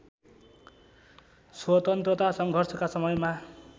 स्वतन्त्रता सङ्घर्षका समयमा